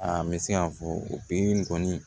A n bɛ se ka fɔ o pikiri in kɔni